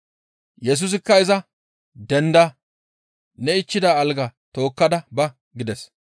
Yesusikka iza, «Denda! Ne ichchida algaa tookkada ba!» gides.